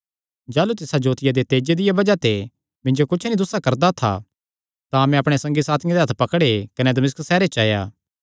जाह़लू तिसा जोतिया दे तेजे दिया बज़ाह ते मिन्जो कुच्छ नीं दुस्सा करदा था तां मैं अपणे संगी साथियां दे हत्थ पकड़े कने मैं दमिश्क सैहरे च आया